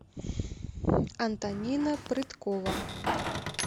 антонина прыткова